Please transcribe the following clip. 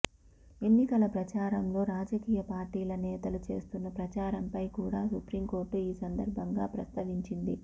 ఎన్నికల ప్రచారంలో రాజకీయ పార్టీల నేతలు చేస్తున్న ప్రచారం పై కూడ సుప్రీంకోర్టు ఈ సందర్భంగా ప్రస్తావించింది